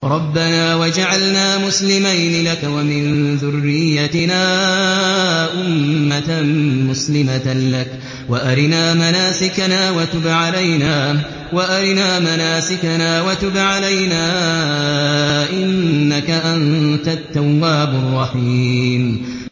رَبَّنَا وَاجْعَلْنَا مُسْلِمَيْنِ لَكَ وَمِن ذُرِّيَّتِنَا أُمَّةً مُّسْلِمَةً لَّكَ وَأَرِنَا مَنَاسِكَنَا وَتُبْ عَلَيْنَا ۖ إِنَّكَ أَنتَ التَّوَّابُ الرَّحِيمُ